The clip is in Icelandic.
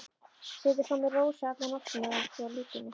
Setið svo með Rósu alla nóttina hjá líkinu.